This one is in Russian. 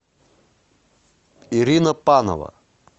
ирина панова